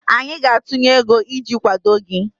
anyị ga-atụnye ego iji kwado gị